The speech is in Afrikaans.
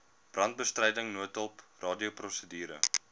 brandbestryding noodhulp radioprosedure